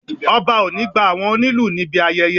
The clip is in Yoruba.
Ọba o ni gba àwọn onílù níbi ayẹyẹ